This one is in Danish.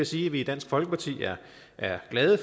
sige at vi i dansk folkeparti er glade